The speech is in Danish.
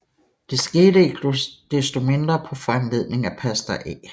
Det skete ikke desto mindre på foranledning af pastor A